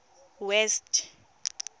west